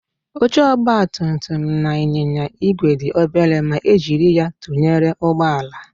Oche ọgbatumtum na ịnyịnya igwe dị obere ma e jiri ya tụnyere ụgbọala